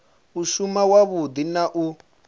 u shuma wavhudi na u